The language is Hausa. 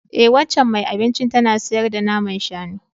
E, waccan mai abincin tana sayar da naman shanu